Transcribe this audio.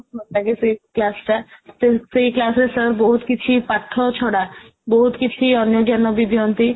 ଭଲ ଲାଗେ ସେଇ class ଟା ତ ସେଇ class ରେ sir ବହୁତ କିଛି ପାଠ ଛଡା ବହୁତ କିଛି ଅନ୍ୟ ଜ୍ଞାନ ବି ଦିଅନ୍ତି